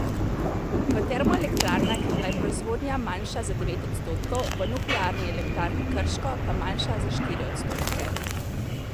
V termoelektrarnah je bila proizvodnja manjša za devet odstotkov, v Nuklearni elektrarni Krško pa manjša za štiri odstotke.